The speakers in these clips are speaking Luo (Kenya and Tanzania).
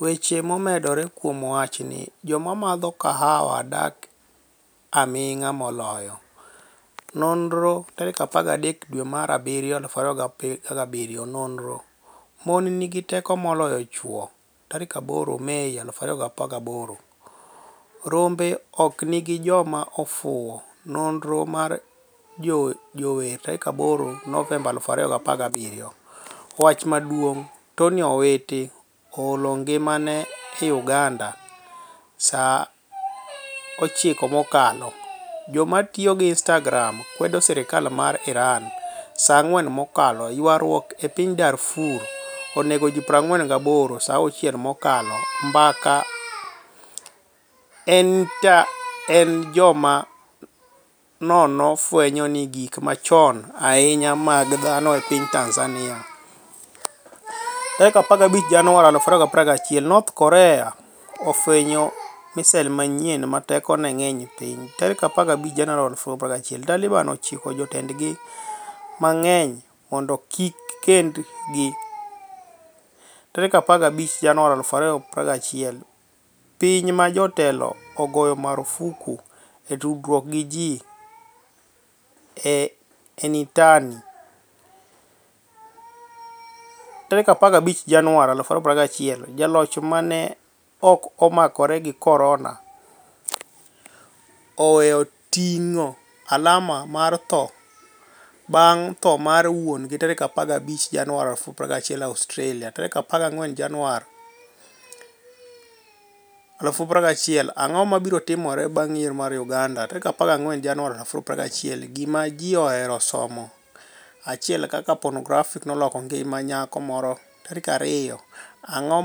Weche momedore kuom wachnii Joma madho kahawa dak aminig'a moloyo: noniro13 dwe mar abiryo 2017 noniro: Moni niigi teko moloyo chwo8 Mei 2018 Rombe ok gini joma ofuwo, noniro mar jower8 novemba 2017 Wach maduonig' Toniy Owiti 'oHolo nigimani e' UganidaSa 9 mokalo Joma tiyo gi Inistagram kwedo sirkal mar IraniSa 4 mokalo Ywaruok e piniy Darfur oni ego ji 48Sa 6 mokalo Mbaka e Initani etJoma nono fweniyo gik machoni ahiniya mag dhano e piniy Tanizaniia15 Janiuar 2021 north Korea fweniyo misil maniyieni 'ma tekoni e nig'eniy e piniy'15 Janiuar 2021 Talibani chiko jotenidgi manig'eniy monido kik gikenidgi15 Janiuar 2021 Piniy ma jatelo ogoyo marfuk e tudruok gi ji e initani et15 Janiuar 2021 Jaloch 'ma ni e ok omakore gi coronia' oweyo tinig'o alama mar tho banig' tho mar wuoni15 Janiuar 2021 Australia 14 Janiuar 2021 Anig'o mabiro timore banig' yiero mar Uganida? 14 Janiuar 2021 Gima Ji Ohero Somo 1 Kaka Ponografi noloko nigima niyako Moro 2 Anig'o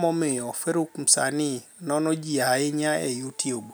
MomiyoFaruk Msanii nono Ji Ahiniya e YouTube?